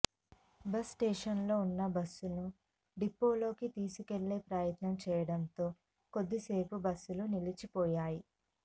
bus స్టేషన్లో ఉన్న బస్సును డిపోలోకి తీసుకెళ్లే ప్రయత్నం చేయడంతో కొద్దిసేపు బస్సులు నిలిచిపోయాయి